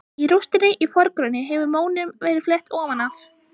Í rústinni í forgrunni hefur mónum verið flett ofan af.